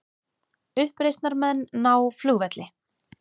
Uppreisnarmenn ná flugvelli